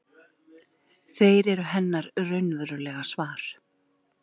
Þeir eru hennar raunverulega svar.